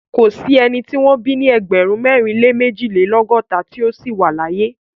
Kò sí ẹni tí wọ́n bí ní ẹgbẹ̀rún mẹ́rin lé méjìlélọ́gọ́ta tí ó ṣì wà láàyè.